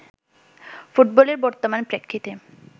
ফুটবলের বর্তমান প্রেক্ষিতে